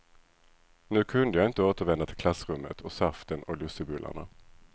Nu kunde jag inte återvända till klassrummet och saften och lussebullarna.